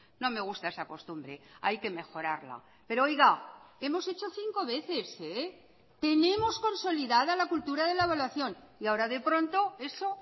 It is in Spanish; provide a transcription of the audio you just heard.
no me gusta esa costumbre hay que mejorarla pero oiga hemos hecho cinco veces tenemos consolidada la cultura de la evaluación y ahora de pronto eso